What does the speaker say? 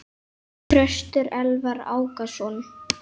Þröstur Elvar Ákason.